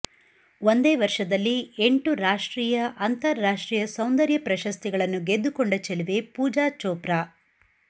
ಒಂದೇ ವರ್ಷದಲ್ಲಿ ಎಂಟು ರಾಷ್ಟ್ರೀಯ ಅಂತರಾಷ್ಟ್ರೀಯ ಸೌಂದರ್ಯ ಪ್ರಶಸ್ತಿಗಳನ್ನು ಗೆದ್ದುಕೊಂಡ ಚೆಲುವೆ ಪೂಜಾ ಚೋಪ್ರಾ